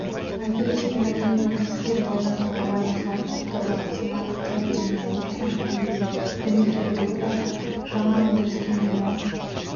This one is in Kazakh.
айгүл есенғалиева кәсіпкер балжан жұмабаева сауыншы авторлары самат қайырденұлы руслан әлиев дмитрий рура жаңа өндіріске миллион